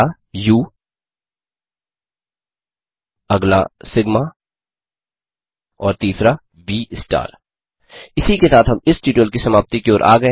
पहला उ अगला सिग्मा और तीसरा व स्टार इसी के साथ हम इस ट्यूटोरियल की समाप्ति की ओर गये हैं